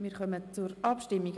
Wir kommen zur Abstimmung.